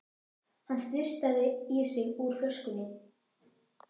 Hann sturtaði í sig úr flöskunni.